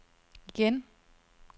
igen